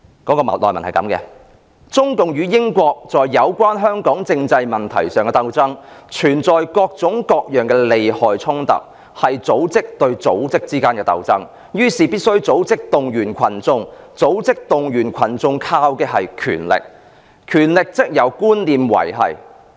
內文是這樣的："中共與英國在有關香港政制問題上的鬥爭，存在各種各樣的利害衝突，是組織對組織之間的鬥爭，於是，必須組織動員群眾，組織動員群眾靠的是權力，權力則由觀念維繫。